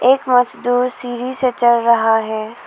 एक मजदूर सीढ़ी से चढ़ रहा है।